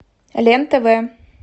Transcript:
лен тв